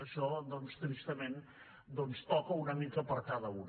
això doncs tristament en toca una mica per a cada un